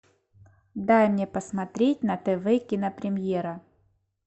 дай мне посмотреть на тв кинопремьера